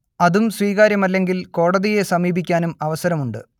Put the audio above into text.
അതും സ്വീകാര്യമല്ലെങ്കിൽ കോടതിയെ സമീപിക്കാനും അവസരമുണ്ട്